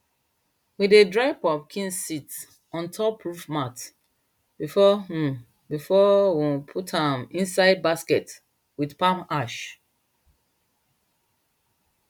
we dey dry pumpkin seeds on top roof mats before um we um put am inside baskets with palm ash